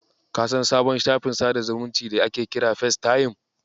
Ka san sabon shafin sadar da zumunci da ake kira Festayim?